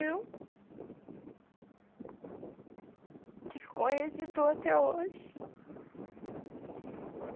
tive até hoje.